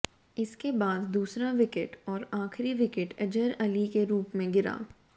इसके बाद दूसरा विकेट और आखिरी विकेट अजहर अली के रूप में गिरा